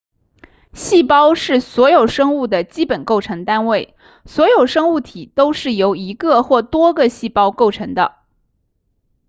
细胞是所有生物的基本构成单位所有生物体都是由一个或多个细胞构成的